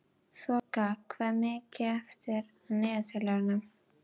Þoka, hvað er mikið eftir af niðurteljaranum?